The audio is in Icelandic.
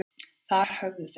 Þar höfðu þeir